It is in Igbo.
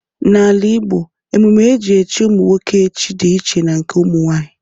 N’ala Igbo, emume e ji echi ụmụ nwoke echi dị iche na nke ụmụ nwanyị.